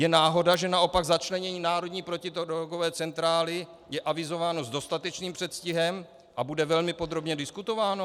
Je náhoda, že naopak začlenění národní protidrogové centrály je avizováno s dostatečným předstihem a bude velmi podrobně diskutováno?